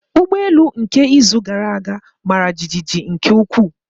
Ụgbọ elu nke izu gara aga mara jijiji nke ukwuu.